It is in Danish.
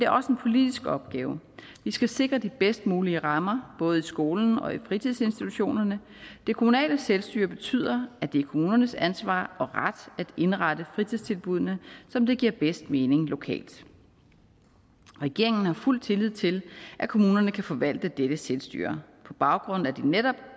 også en politisk opgave vi skal sikre de bedst mulige rammer både i skolen og i fritidsinstitutionerne det kommunale selvstyre betyder at det er kommunernes ansvar og ret at indrette fritidstilbuddene som det giver bedst mening lokalt regeringen har fuld tillid til at kommunerne kan forvalte dette selvstyre på baggrund af de netop